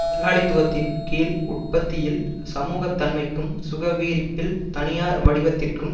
முதலாளித்துவத்தின் கீழ் உற்பத்தியில் சமூகத்தன்மைக்கும் சுகவீரிப்பில் தனியார் வடிவத்திற்கும்